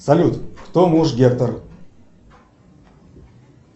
салют кто муж гектор